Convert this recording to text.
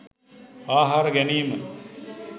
ආහාර ගැනීම.